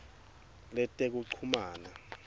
letekuchumana